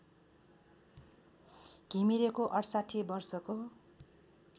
घिमिरेको ६८ वर्षको